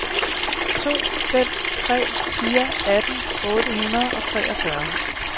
to fem tre fire atten otte hundrede og treogtyve